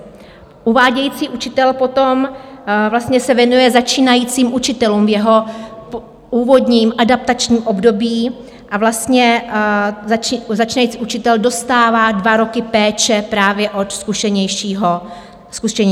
Uvádějící učitel potom se věnuje začínajícími učiteli v jeho úvodním adaptačním období a začínající učitel dostává dva roky péče právě od zkušenějšího kolegy.